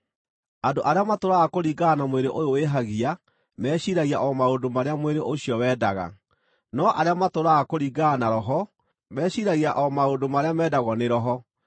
Andũ arĩa matũũraga kũringana na mwĩrĩ ũyũ wĩhagia meciiragia o maũndũ marĩa mwĩrĩ ũcio wendaga; no arĩa matũũraga kũringana na Roho meciiragia o maũndũ marĩa mendagwo nĩ Roho.